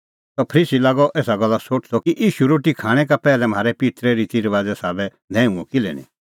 सह फरीसी लागअ एसा गल्ला सोठदअ कि ईशू रोटी खाणैं का पैहलै म्हारै पित्तरे रितीरबाज़े साबै न्हैऊअ किल्है निं